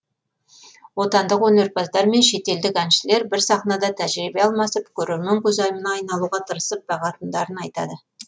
отандық өнерпаздар мен шетелдік әншілер бір сахнада тәжірибе алмасып көрермен көзайымына айналуға тырысып бағатындарын айтады